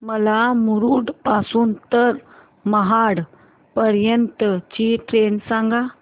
मला मुरुड पासून तर महाड पर्यंत ची ट्रेन सांगा